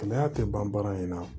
Kɛnɛya tɛ ban baara in na